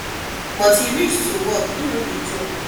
but wen e reach to work e no dey joke